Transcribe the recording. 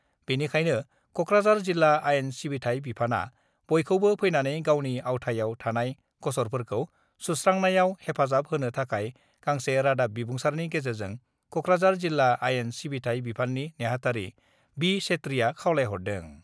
बेनिखायनो कक्राझार जिल्ला आयेन सिबिथाय बिफाना बयखौबो फैनानै गावनि आवथायाव थानाय गसरफोरखौ सुस्रांनायाव हेफाजाब होनो थाखाय गांसे रादाब बिबुंसारनि गेजेरजों कक्राझार जिल्ला आयेन सिबिथाय बिफाननि नेहाथारि बि. सेत्रिआ खावलायहरदों।